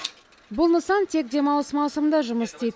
бұл нысан тек демалыс маусымында жұмыс істейді